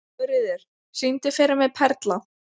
Jóríður, syngdu fyrir mig „Perla“.